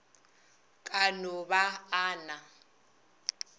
ka no ba a na